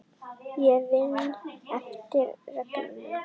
Ég vinn eftir reglum.